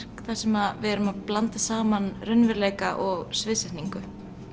þar sem við erum að blanda saman raunveruleika og sviðsetningu